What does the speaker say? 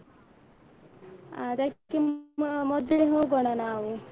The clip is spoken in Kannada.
ಅದಕ್ಕೆ ಮೊದ್ಲೆ ಹೋಗೋಣ ನಾವು.